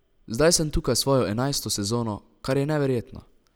Zdaj sem tukaj svojo enajsto sezono, kar je neverjetno.